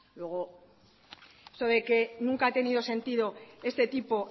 luego eso de que nunca ha tenido sentido este tipo